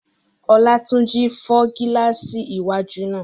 Olátúnjí fọ́ gílààsì iwájú náà